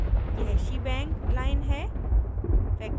यह shebang line है